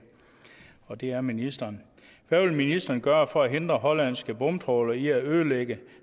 og det er ministeren hvad vil ministeren gøre for at hindre hollandske bomtrawlere i at ødelægge